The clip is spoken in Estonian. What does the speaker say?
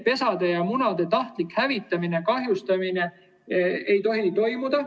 Pesade ja munade tahtlikku hävitamist ja kahjustamist ei tohi toimuda.